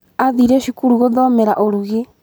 Aathire cukuru gũthomera ũrugĩ.